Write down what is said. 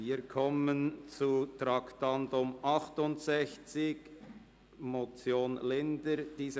Wir kommen zum Traktandum 68, der Motion Linder, Bern, Grüne.